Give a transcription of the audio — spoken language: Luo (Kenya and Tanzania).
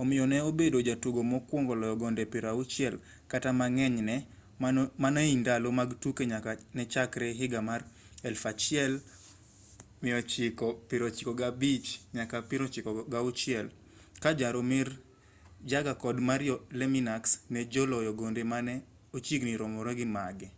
omiyo ne obedo jatugo mokwongo loyo gonde 60 kata mang'eny ne mano ei ndalo mag tuke nyaka ne chakre higa mar 1995-96 ka jaromir jagr kod mario lemieux ne joloyo gonde mane ochiegni romore gi mago